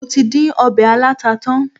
Mo tí dín ọbẹ̀ aláta tán.